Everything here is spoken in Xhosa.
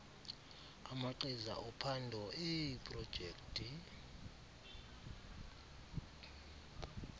amagqiza ophando eeprojekthi